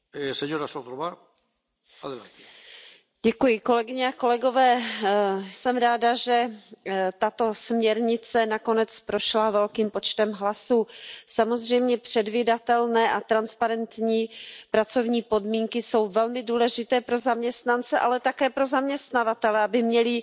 Pane předsedající, jsem ráda, že tato směrnice nakonec prošla velkým počtem hlasů. Samozřejmě předvídatelné a transparentní pracovní podmínky jsou velmi důležité pro zaměstnance, ale také pro zaměstnavatele, aby měli